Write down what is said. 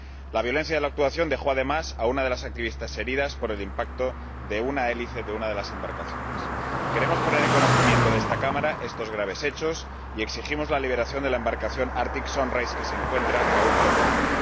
La violencia de la actuación dejó asimismo a una de las activistas herida por el impacto de una hélice de una de las embarcaciones. Queremos poner en conocimiento de esta Cámara estos graves hechos y exigimos la liberación de la embarcación Arctic Sunrise que se encuentra aún retenida.